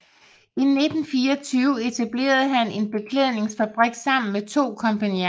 I 1924 etablerede han en beklædningsfabrik sammen med to kompagnoner